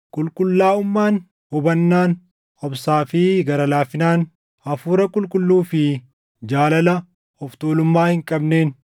qulqullaaʼummaan, hubannaan, obsaa fi gara laafinaan, Hafuura Qulqulluu fi jaalala of tuulummaa hin qabneen,